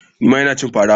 Nima Ina cin fara.